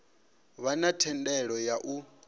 vha na thendelo ya u